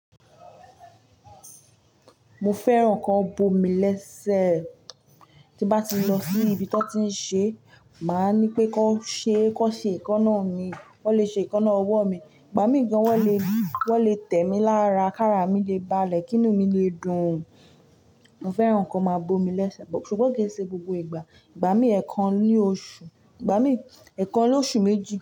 Mo fẹ́ràn kan bo mi lẹ́sẹ̀. Tí bá ti lọ sí ibi tí wọ́n ti ń ṣe, màá ní pé kan ṣe, kan ṣe èékánná mi. Wọ́n lè ṣe èékánná ọwọ́ mi. Ìgbà mí ní gan wọ́n le, wọ́n le tẹ̀ mí lára, kára mi le balẹ̀, kìnu mi le dùn. Mo fẹ́ràn kí wọ́n máa bo mi lẹ́sẹ̀, ṣùgbọ́n kì í ṣe gbogbo ìgbà. Ìgbà mí, ẹ̀kan ní oṣù, ìgbà mí, ẹ̀kan lóṣù méjì.